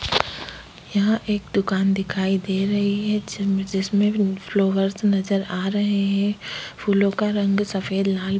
यहा एक दुकान दिखाई दे रही है जिंनमे जिसमें फ्लावर्स नजर आ रहे हैं फूलों का रंग सफेद लाल --